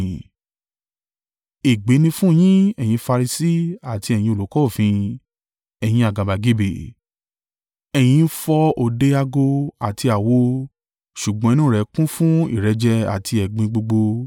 “Ègbé ni fún yín ẹ̀yin Farisi àti ẹ̀yin olùkọ́ òfin, ẹ̀yin àgàbàgebè. Ẹ̀yin ń fọ òde ago àti àwo ṣùgbọ́n inú rẹ̀ kún fún ìrẹ́jẹ àti ẹ̀gbin gbogbo.